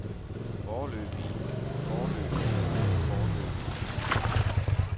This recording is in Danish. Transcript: foreløbige foreløbige foreløbige